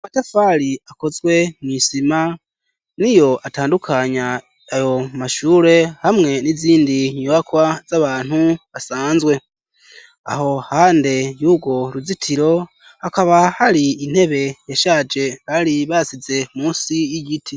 Amatafari akozwe mwisima niyo atandukanya ayo mashure hamwe n'izindi nyubakwa z'abantu basanzwe aho iruhande y'ugwo ruzitiro hakaba hari intebe yashaje bari basize munsi y'igiti.